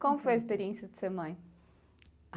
Como foi a experiência de ser mãe?